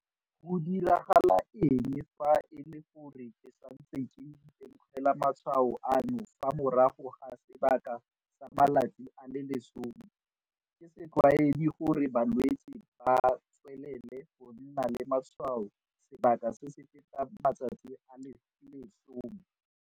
Go diragala eng fa e le gore ke santse ke itemogela matshwao ano fa morago ga sebaka sa matsatsi a le 10?Ke setlwaedi gore balwetse ba tswelele go nna le matshwao sebaka se se fetang matsatsi a le 10.